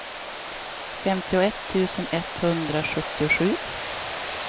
femtioett tusen etthundrasjuttiosju